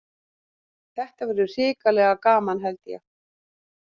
Þetta verður hrikalega gaman held ég.